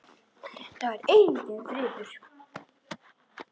Það er enginn friður!